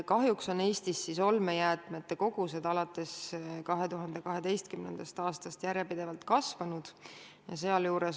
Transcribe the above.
Kahjuks on Eestis olmejäätmete kogused alates 2012. aastast järjepidevalt kasvanud.